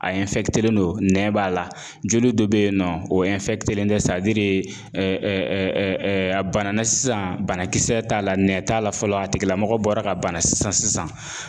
A len don nɛ b'a la, joli do be yen nɔ o len tɛ sadirii a banana sisan, banakisɛ t'a la nɛ t'a la fɔlɔ a tigila mɔgɔ bɔra ka bana sisan sisan